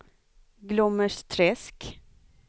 Glommersträsk